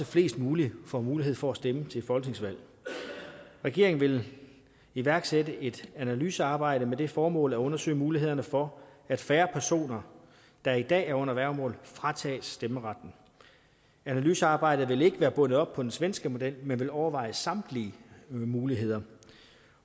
flest muligt får mulighed for at stemme til folketingsvalg regeringen vil iværksætte et analysearbejde med det formål at undersøge mulighederne for at færre personer der i dag er under værgemål fratages stemmeretten analysearbejdet vil ikke være bundet op på den svenske model men vil overveje samtlige muligheder